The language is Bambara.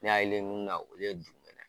N'i y'ale ye mun na olu ye dugumɛnɛ